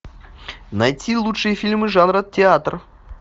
найти лучшие фильмы жанра театр